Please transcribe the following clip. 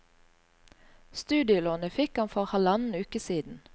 Studielånet fikk han for halvannen uke siden.